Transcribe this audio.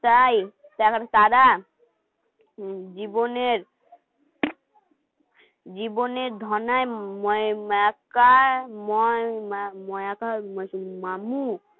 এখন তারা জীবনের জীবনের ধর্নায় মামু